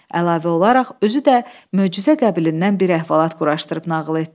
Əlavə olaraq özü də möcüzə qəbilindən bir əhvalat quraşdırıb nağıl etdi.